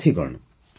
ସାଥିଗଣ